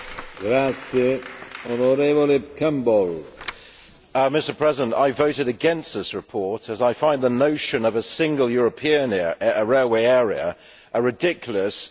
Mr President, I voted against this report as I find the notion of a single European railway area a ridiculous, unnecessary and unwelcome intrusion into domestic affairs.